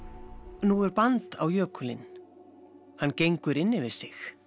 nú er band á jökulinn hann gengur inn yfir sig